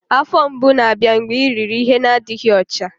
Afọ mgbu na-abịa mgbe i riri ihe n'adịghị ọcha